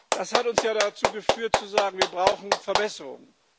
Das hat uns ja dazu geführt zu sagen Wir brauchen Verbesserungen.